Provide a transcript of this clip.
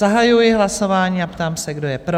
Zahajuji hlasování a ptám se, kdo je pro?